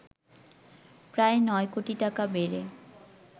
প্রায় ৯ কোটি টাকা বেড়ে